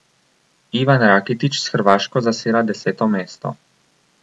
Ivan Rakitić s Hrvaško zaseda deseto mesto.